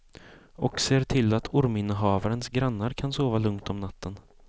Och ser till att orminnehavarens grannar kan sova lugnt om natten.